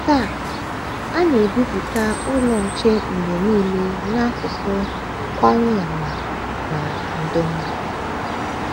Taa, a na - ebipụta Ụlọ Nche mgbe nile n’asụsụ Kwanyama na Ndonga.